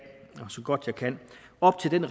og så godt jeg kan op til den